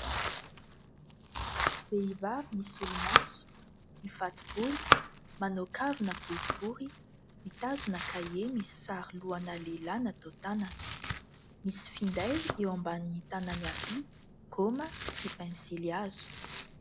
Vehivavy misolomaso, mifato-bolo, manao kavina boribory mitazona kahie misy sary lohana lehilahy natao tanana, misy finday eo ambanin'ny tanany havia, gaoma sy pensily hazo.